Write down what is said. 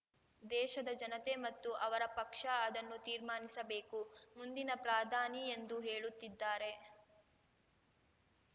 ದೇಶದ ಜನತೆ ಮತ್ತು ಅವರ ಪಕ್ಷ ಅದನ್ನು ತೀರ್ಮಾನಿಸಬೇಕು ಮುಂದಿನ ಪ್ರಾಧಾನಿ ಎಂದು ಹೇಳುತ್ತಿದ್ದಾರೆ